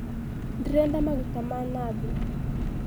Ndĩrenda maguta ma nathi.